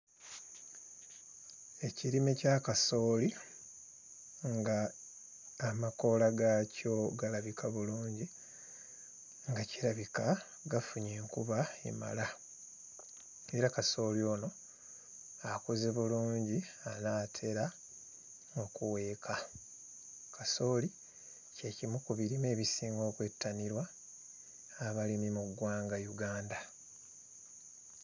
Ekirime kya kasooli, nga amakoola gaakyo galabika bulungi nga kirabika gafunye enkuba emala era kasooli ono akuze bulungi anaatera okuweeka. Kasooli kye kimu ku birime ebisinga okwettanirwa abalimi mu ggwanga Uganda.